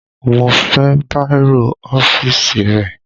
Mo fẹ́ bàírò ọ́fíìsì rẹ